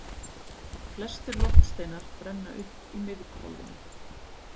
Flestir loftsteinar brenna upp í miðhvolfinu.